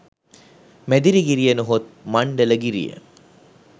මැදිරිගිරිය නොහොත් මණ්ඩලගිරිය